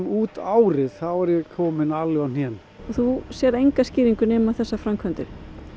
út árið þá er ég kominn alveg á hnén og þú sérð enga skýringu nema þessar framkvæmdir